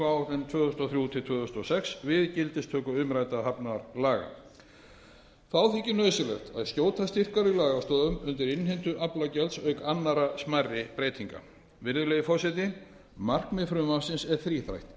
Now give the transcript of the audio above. á samgönguáætlun tvö þúsund og þrjú til tvö þúsund og sex við gildistöku umræddra hafnalaga þá þykir nauðsynlegt að skjóta styrkari lagastoðum undir innheimtu aflagjalds auk annarra smærri breytinga virðulegi forseti markmið frumvarpsins er þríþætt